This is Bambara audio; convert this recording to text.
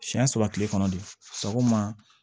Siɲɛ saba kile kɔnɔ de sɔgɔma